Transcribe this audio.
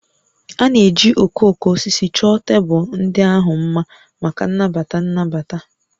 A na-eji okooko osisi chọọ tebụl ndị ahụ mma maka nnabata nnabata